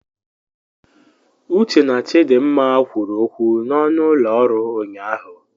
Uche na Chidimma kwuru okwu n'ọnụ ụlọ ọrụ ụnyahụ.